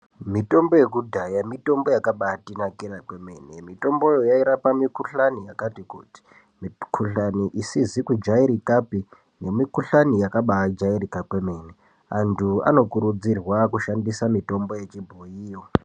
Mitombo yekudhaya mitombo yaka bahatinakira kwemenemi tombo hera pakuhlaniya kati kuti mukuhlwane isise kujairika nemikuhlwani yakabahajairika kwemene antu anokurudzirwa kushandisa mitombo yechibhoyi